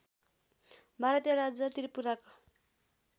भारतीय राज्य त्रिपुराको